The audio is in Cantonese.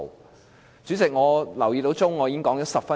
代理主席，我留意到計時器，我已經發言了10分鐘。